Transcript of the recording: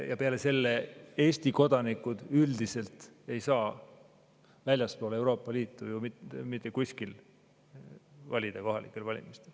Ja seda ka, et Eesti kodanikud üldiselt ei saa väljaspool Euroopa Liitu kohalikel valimistel mitte kuskil valida.